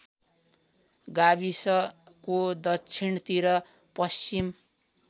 गाविसको दक्षिणतिर पश्चिम